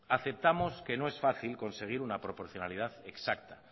aceptamos que no es fácil conseguir una proporcionalidad exacta